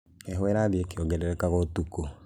Heho ĩrathiĩ ĩkĩongerereka ũtukũ